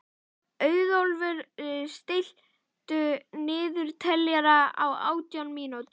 Auðólfur, stilltu niðurteljara á átján mínútur.